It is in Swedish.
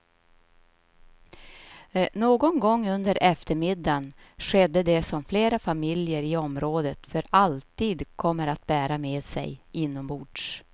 Någon gång under eftermiddagen skedde det som flera familjer i området för alltid kommer att bära med sig inombords.